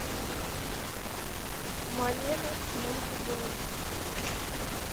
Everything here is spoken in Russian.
малена с моникой белуччи